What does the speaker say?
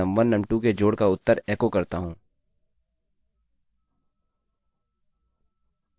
तो मैं num1 num2 के जोड़ का उत्तर एको करता हूँ